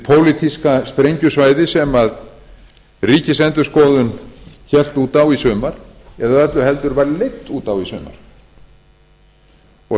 pólitíska sprengjusvæði sem ríkisendurskoðun hélt út á í sumar eða öllu heldur var leidd út á í sumar